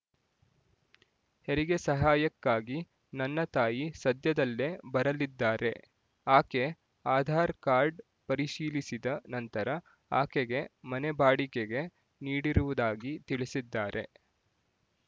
ಹೆರಿಗೆ ಸಹಾಯಕ್ಕಾಗಿ ನನ್ನ ತಾಯಿ ಸದ್ಯದಲ್ಲೇ ಬರಲಿದ್ದಾರೆ ಆಕೆ ಆಧಾರ್ ಕಾರ್ಡ್ ಪರಿಶೀಲಿಸಿದ ನಂತರ ಆಕೆಗೆ ಮನೆ ಬಾಡಿಗೆಗೆ ನೀಡಿರುವುದಾಗಿ ತಿಳಿಸಿದ್ದಾರೆ